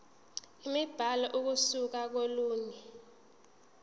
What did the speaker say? imibhalo ukusuka kolunye